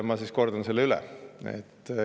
Ma siis kordan üle.